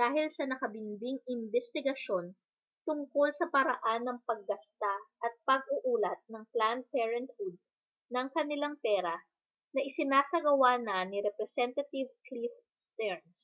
dahil sa nakabinbing imbestigasyon tungkol sa paraan ng paggasta at pag-uulat ng planned parenthood ng kanilang pera na isinasagawa na ni representantive cliff stearns